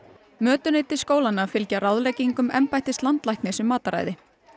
mötuneyti skólanna fylgja ráðleggingum embættis landlæknis um mataræði